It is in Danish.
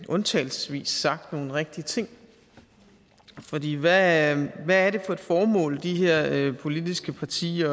undtagelsesvis sagt nogle rigtige ting fordi hvad hvad er det for et formål som de her politiske partier